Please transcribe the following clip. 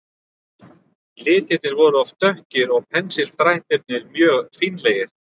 Litirnir voru oft dökkir og pensildrættirnir mjög fínlegir.